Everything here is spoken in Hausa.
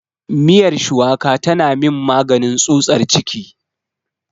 Miyar shuwaka tana min maganin tsutsar ciki.